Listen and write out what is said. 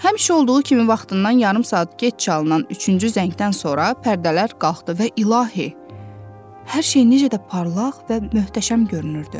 Həmişə olduğu kimi vaxtından yarım saat gec çalınan üçüncü zəngdən sonra pərdələr qalxdı və ilahi, hər şey necə də parlaq və möhtəşəm görünürdü.